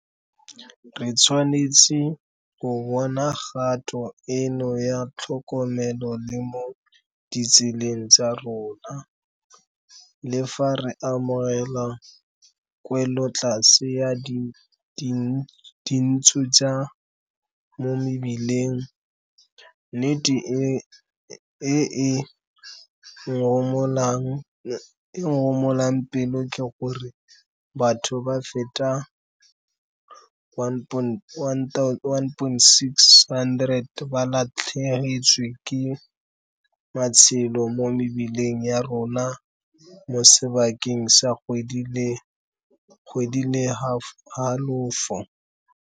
Re tshwanetse go bona kgato eno ya tlhokomelo le mo ditseleng tsa rona, Le fa re amogela kwelotlase ya dintsho tsa mo mebileng, nnete e e ngomolang pelo ke gore batho ba feta 1,600 ba latlhegetswe ke matshelo mo mebileng ya rona mo sebakeng sa kgwedi le halofo.